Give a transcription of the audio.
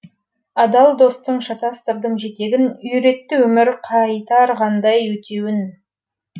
адал достың шатастырдым жетегін үйретті өмір қайтарғандай өтеуін